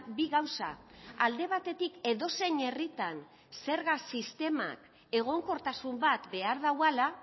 bi gauza alde batetik edozein herritan zerga sistemak egonkortasun bat behar duela